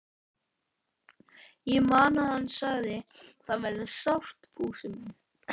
Ég man að hann sagði: Þetta verður sárt, Fúsi minn.